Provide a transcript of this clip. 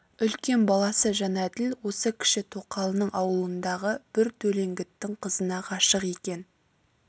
үлкен баласы жәнәділ осы кіші тоқалының аулындағы бір төлеңгіттің қызына ғашық екен